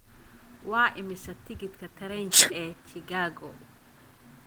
Waa imisa tigidhka tareenka ee Chicago?